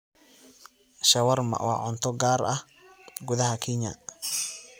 shawarma waa cunto gaar ah gudaha Kenya